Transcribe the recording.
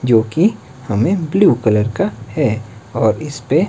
जो कि हमें ब्लू कलर का है और इस पे--